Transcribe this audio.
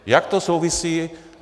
Jak to souvisí?